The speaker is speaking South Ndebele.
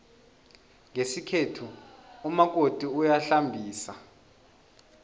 ngesikhethu umakoti uyahlambisa